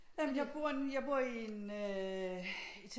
Jamen jeg bor nu jeg bor i en